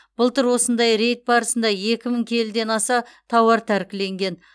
былтыр осындай рейд барысында екі мың келіден аса тауар тәркіленген